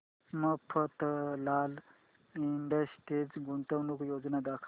Mafatlal industries गुंतवणूक योजना दाखव